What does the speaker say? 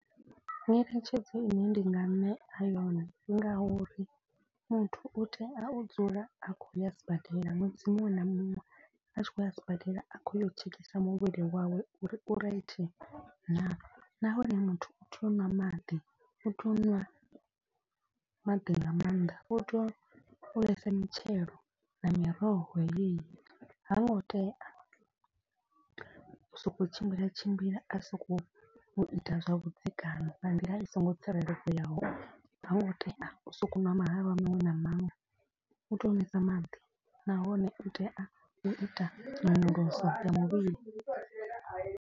Nyeletshedzo ine ndi nga ṋea yone ndi nga uri muthu u tea u dzula a khou ya sibadela ṅwedzi muṅwe na muṅwe. A tshi khou ya sibadela a khou ya u tshekisa muvhili wawe u ri u right naa. Nahone muthu u tea u ṅwa maḓi u tea u ṅwa maḓi nga maanḓa u tea u ḽesa mitshelo na miroho yeyi. Ha ngo tea u so ko u tshimbila a tshimbila a sokou ita zwavhuḓi kana nga nḓila i songo tsireledzeaho. Hango tea u sokou ṅwa mahalwa maṅwe na maṅwe u tea u nwesa maḓi nahone u tea u ita nyonyoloso ya muvhili.